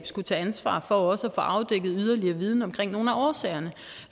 skulle tage ansvar for også at få afdækket yderligere viden omkring nogle af årsagerne